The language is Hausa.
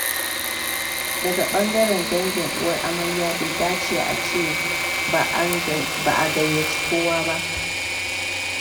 Daga ɓangaren dangin uwar amarya bai dace a ce ba a gayyaci kowa ba